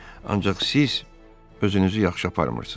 Ancaq siz özünüzü yaxşı aparmırsınız.